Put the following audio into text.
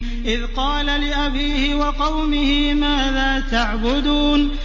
إِذْ قَالَ لِأَبِيهِ وَقَوْمِهِ مَاذَا تَعْبُدُونَ